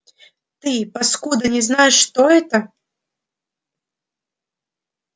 ты паскуда не знаешь что это